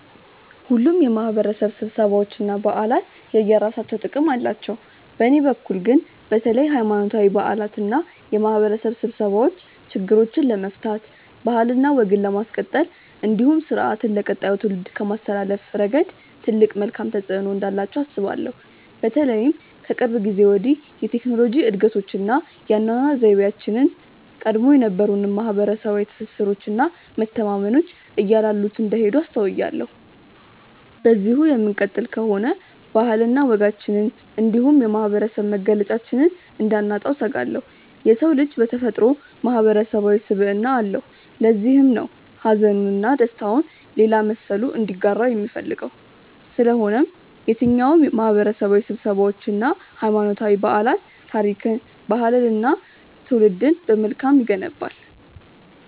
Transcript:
ሁሉም የማህበረሰብ ስብሰባዎች እና በዓላት የየራሳቸው ጥቅም አላቸው። በእኔ በኩል ግን በተለይ ሀይማኖታዊ በዓላት እና የማህበረሰብ ስብሰባዎች ችግሮችን ለመፍታት ባህልና ወግን ለማስቀጠል እንዲሁም ስርአትን ለቀጣዩ ትውልድ ከማስተላለፍ ረገድ ትልቅ መልካም ተፆዕኖ እንዳላቸው አስባለሁ። በተለይም ከቅርብ ጊዜ ወዲህ የቴክኖሎጂ እድገቶች እና የአኗኗር ዘይቤያችን ቀድሞ የነበሩንን ማህበረሰባዊ ትስስሮች እና መተማመኖች እያላሉት እንደሄዱ አስተውያለሁ። በዚሁ የምንቀጥል ከሆነ ባህልና ወጋችንን እንዲሁም የማህበረሰብ መገለጫችንን እንዳናጣው እሰጋለሁ። የሰው ልጅ በተፈጥሮው ማህበረሰባዊ ስብዕና አለው። ለዚህም ነው ሀዘኑን እና ደስታውን ሌላ መሰሉ እንዲጋራው የሚፈልገው። ስለሆነም የትኛውም ማህበረሰባዊ ስብሰባዎች እና ሀይማኖታዊ በዓላት ታሪክን፣ ባህልንን እና ትውልድን በመልካም ይገነባል።